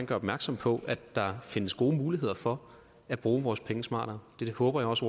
gøre opmærksom på at der findes gode muligheder for at bruge vores penge smartere det håber jeg også